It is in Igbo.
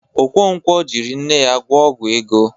Okonkwo jịrị nne ya gwọ ọgwọ ego.